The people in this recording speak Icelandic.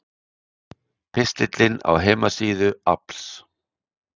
Pistillinn á heimasíðu AFLs